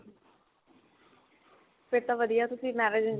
ਫਿਰ ਤਾਂ ਵਧੀਆ ਤੁਸੀ marriage.